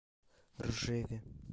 ржеве